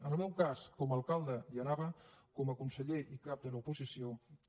en el meu cas com a alcalde hi anava com a conseller i cap de l’oposició també